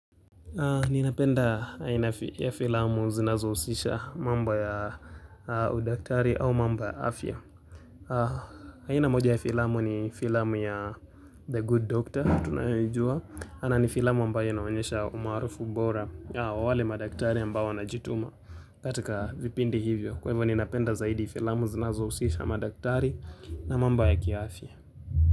Ninapenda aina ya filamu zinazo husisha mambo ya udaktari au mamba ya afya. Aina moja ya filamu ni filamu ya The good Doctor tunayoijua. Ana ni filamu ambayo inaonyesha umarufu bora ya wale madaktari ambao wana jituma katika vipindi hivyo. Kwa hivyo ninapenda zaidi filamu zinazo husisha madaktari na mamba ya ki afya.